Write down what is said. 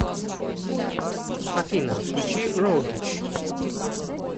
афина включи роугич